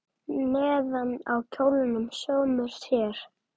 Neðan á kjólnum sómir sér.